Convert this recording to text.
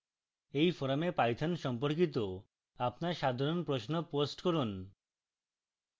এই forum python সম্পর্কিত আপনার সাধারণ প্রশ্ন post করুন